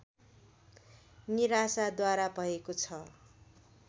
निराशाद्वारा भएको छ